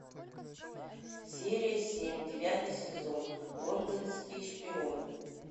серия семь девятый сезон лондонский шпион